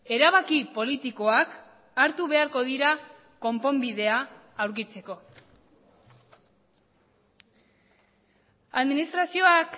erabaki politikoak hartu beharko dira konponbidea aurkitzeko administrazioak